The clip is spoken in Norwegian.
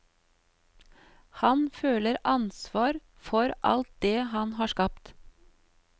Han føler ansvar for alt det han har skapt.